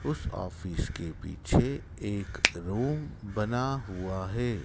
उस ऑफिस के पीछे एक रूम बना हुआ है।